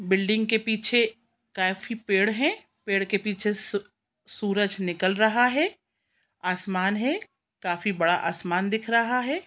Building के पीछे काफी पेड़ है पेड़ के पीछे स सूरज निकल रहा है आसमान है काफी बड़ा आसमान दिख रहा है।